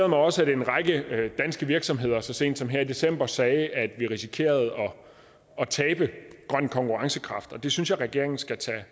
mig også at en række danske virksomheder så sent som her i december sagde at vi risikerede at tabe grøn konkurrencekraft og det synes jeg at regeringen skal tage